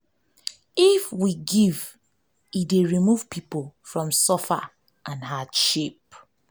if we give e dey remove pipo from suffer and hardship